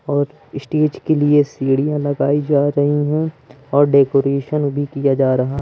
और स्टेज के लिए सीढ़ियां लगाई जा रही हैं और डेकोरेशन भी किया जा रहा--